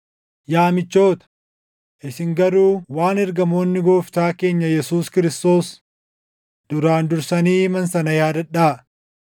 Yaa michoota, isin garuu waan ergamoonni Gooftaa keenya Yesuus Kiristoos duraan dursanii himan sana yaadadhaa.